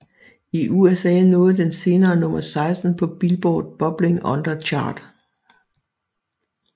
I USA nåede den senere nummer 16 på Billboard Bubbling Under Chart